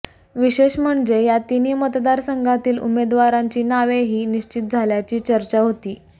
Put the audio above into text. विशेष म्हणजे या तिन्ही मतदारसंघातील उमेदवारांची नावेही निश्चित झाल्याची चर्चा होती